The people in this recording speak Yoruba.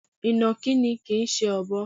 Ìnàkí ni kìí ṣe Ọ̀bọ.